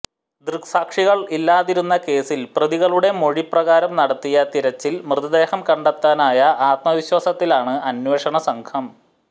ദൃക്സാക്ഷികൾ ഇല്ലാതിരുന്ന കേസിൽ പ്രതികളുടെ മൊഴി പ്രകാരം നടത്തിയ തിരച്ചിൽ മൃതദേഹം കണ്ടെത്താനായ ആത്മവിശ്വാസത്തിലാണ് അന്വേഷണ സംഘം